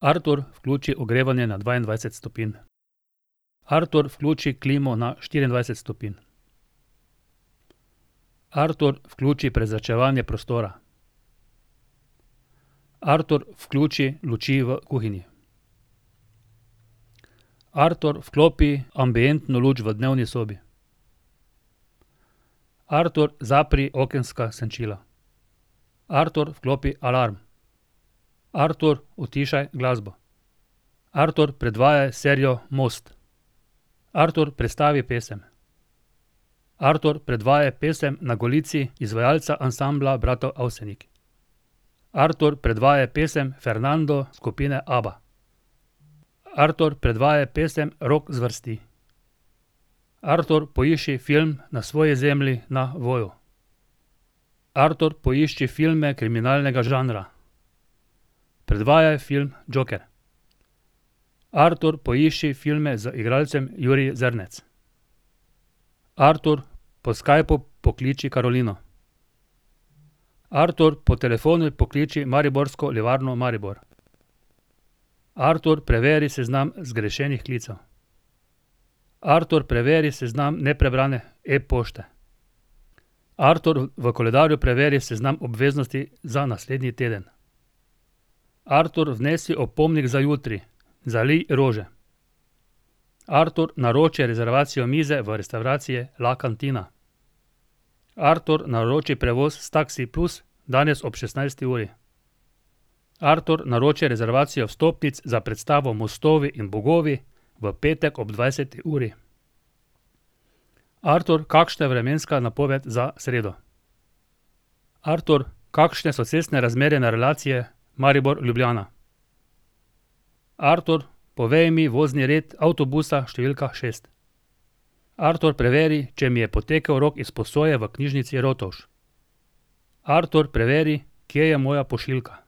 Artur, vključi ogrevanje na dvaindvajset stopinj. Artur, vključi klimo na štiriindvajset stopinj. Artur, vključi prezračevanje prostora. Artur, vključi luči v kuhinji. Artur, vklopi ambientno luč v dnevni sobi. Artur, zapri okenska senčila. Artur, vklopi alarm. Artur, utišaj glasbo. Artur, predvajaj serijo Most. Artur, prestavi pesem. Artur, predvajaj pesem Na golici izvajalca Ansambla bratov Avsenik. Artur, predvajaj pesem Fernando, skupine Abba. Artur, predvajaj pesem rock zvrsti. Artur, poišči film Na svoji zemlji na Voyu. Artur, poišči film kriminalnega žanra. Predvajaj film Joker. Artur, poišči filme z igralcem Jurij Zrnec. Artur, po Skypu pokliči Karolino. Artur, po telefonu pokliči Mariborsko livarno Maribor. Artur, preveri seznam zgrešenih klicev. Artur, preveri seznam neprebrane e-pošte. Artur, v koledarju preveri seznam obveznosti za naslednji teden. Artur, vnesi opomnik za jutri: zalij rože. Artur, naroči rezervacijo mize v restavraciji La Cantina. Artur, naroči prevoz s Taksi plus danes ob šestnajsti uri. Artur, naroči rezervacijo vstopnic za predstavo Mostovi in bogovi v petek ob dvajseti uri. Artur, kakšna je vremenska napoved za sredo? Artur, kakšne so cestne razmere na relaciji Maribor-Ljubljana. Artur, povej mi vozni red avtobusa številka šest. Artur, preveri, če mi je potekel rok izposoje v knjižnici Rotovž. Artur, preveri, kje je moja pošiljka.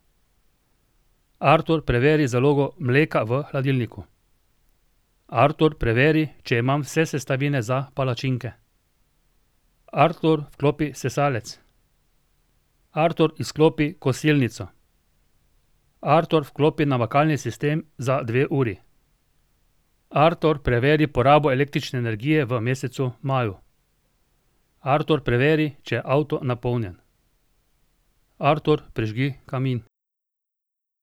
Artur, preveri zalogo mleka v hladilniku. Artur, preveri, če imam vse sestavine za palačinke. Artur, vklopi sesalec. Artur, izklopi kosilnico. Artur, vklopi namakalni sistem za dve uri. Artur, preveri porabo električne energije v mesecu maju. Artur, preveri, če je avto napolnjen. Artur, prižgi kamin.